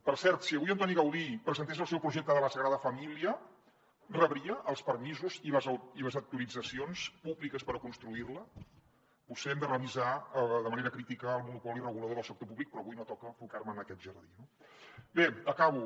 per cert si avui antoni gaudí presentés el seu projecte de la sagrada família rebria els permisos i les autoritzacions públiques per construir la potser hem de revisar de manera crítica el monopoli regulador del sector públic però avui no toca ficar me en aquest jardí no bé acabo